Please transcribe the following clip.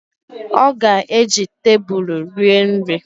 Ọ ga-eji tebulu rie nri